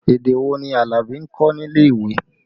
Èdè wò ni Alabi ń kọ́ nílé ìwé?